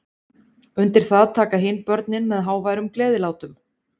Undir það taka hin börnin með háværum gleðilátum.